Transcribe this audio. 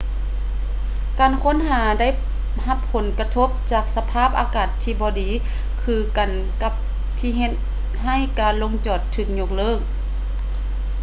ການຄົ້ນຫາໄດ້ຮັບຜົນກະທົບຈາກສະພາບອາກາດທີ່ບໍ່ດີຄືກັນກັບທີ່ເຮັດໃຫ້ການລົງຈອດຖືກຍົກເລີກ